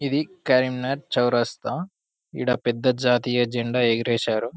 ఇది కరీంనగర్ చౌరస్తా ఈడ పెద్ద జాతీయ జెండా ఎగరేశారు